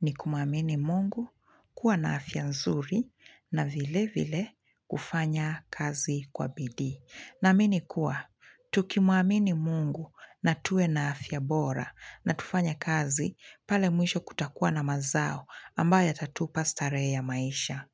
ni kumuamini mungu kuwa na afya nzuri na vile vile kufanya kasi kwa bidii. Naamini kuwa, tukimuamini mungu na tuwe na afya bora na tufanye kazi pale mwisho kutakuwa na mazao ambaye yatatupa starehe ya maisha.